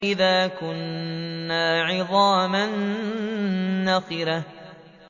أَإِذَا كُنَّا عِظَامًا نَّخِرَةً